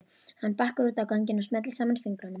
Hann bakkar út á ganginn og smellir saman fingrunum.